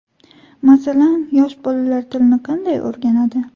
Masalan, yosh bolalar tilni qanday o‘rganadi?